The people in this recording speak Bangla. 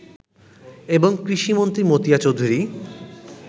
এবং কৃষিমন্ত্রী মতিয়া চৌধুরী